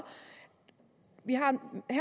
vi